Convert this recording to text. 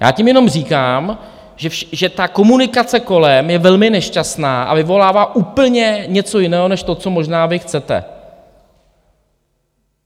Já tím jenom říkám, že ta komunikace kolem je velmi nešťastná a vyvolává úplně něco jiného než to, co možná vy chcete.